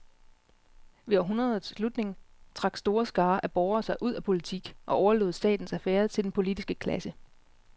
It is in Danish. Ved århundredets slutning trak store skarer af borgere sig ud af politik og overlod statens affærer til den politiske klasse.